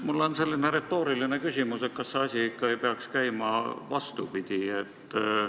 Mul on retooriline küsimus: kas see asi ei peaks käima ikka vastupidi?